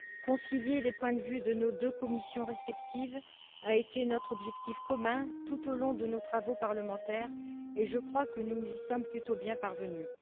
Concilier les points de vue de nos deux commissions respectives a été notre objectif commun tout au long de nos travaux parlementaires et je crois que nous y sommes plutôt bien parvenus.